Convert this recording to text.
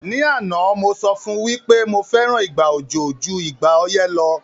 Ní àná, mo sọ fún wí pé mo fẹ́ràn ìgbà òjò ju ìgbà ọyẹ́ lo